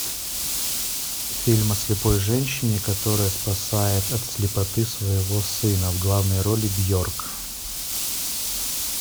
фильм о слепой женщине которая спасает от слепоты своего сына в главной роли бьорк